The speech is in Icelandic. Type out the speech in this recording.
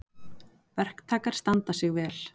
Verktakar standa sig vel